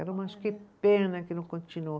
que pena que não continuou.